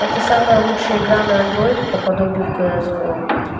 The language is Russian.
это самая лучшая игра на андроид по подобию кс го